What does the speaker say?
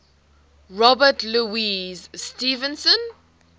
robert louis stevenson